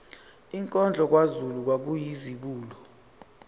inkondlo kazulu kwakuyizibulo